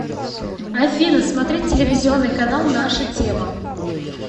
афина смотреть телевизионный канал наша тема